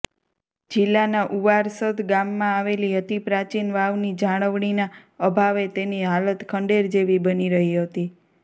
જિલ્લાના ઉવારસદ ગામમાં આવેલી અતિ પ્રાચીનવાવની જાળવણીના અભાવે તેની હાલત ખંડેર જેવી બની રહી હતી